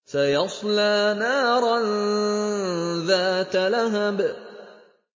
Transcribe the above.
سَيَصْلَىٰ نَارًا ذَاتَ لَهَبٍ